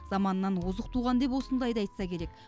заманынан озық туған деп осындайды айтса керек